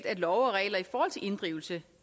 at love og regler i forhold til inddrivelse